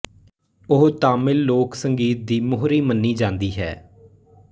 ਉਹ ਤਾਮਿਲ ਲੋਕ ਸੰਗੀਤ ਦੀ ਮੋਹਰੀ ਮੰਨੀ ਜਾਂਦੀ ਹੈ